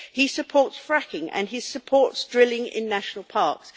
He supports fracking and he supports drilling in national parks.